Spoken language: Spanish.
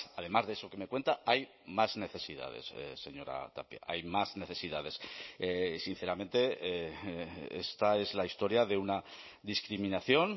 además de eso que me cuenta hay más necesidades señora tapia hay más necesidades sinceramente esta es la historia de una discriminación